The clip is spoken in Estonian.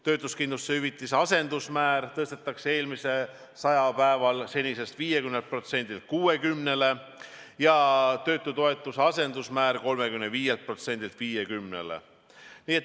Töötuskindlustushüvitise asendusmäär tõstetakse esimesel sajal päeval seniselt 50%-lt 60%-le ja töötutoetuse asendusmäär 35%-lt 50%-le.